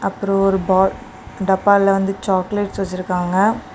அப்பரோ ஒரு பா டப்பால வந்து சாக்லேட்ஸ் வச்சிருக்காங்க.